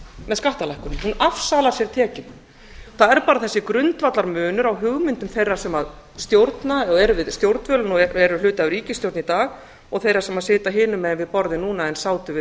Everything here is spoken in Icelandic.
með skattalækkunum hún afsalar sér tekjum það er bara þessi grundvallarmunur á hugmyndum þeirra sem stjórna eða eru við stjórnvölinn og eru hluti af ríkisstjórn í dag og þeirra sem sitja hinum megin við borðið núna en sátu við